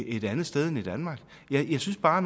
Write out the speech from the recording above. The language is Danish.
et andet sted end i danmark jeg synes bare